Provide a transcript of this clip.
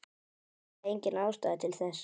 Enda engin ástæða til þess.